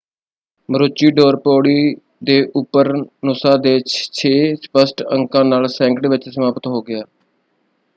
Maroochydore ਪੌੜੀ ਦੇ ਉੱਪਰ ਨੂਸਾ ਦੇ ਛੇ ਸਪਸ਼ਟ ਅੰਕਾਂ ਨਾਲ ਸੈਕਿੰਡ ਵਿੱਚ ਸਮਾਪਤ ਹੋ ਗਿਆ।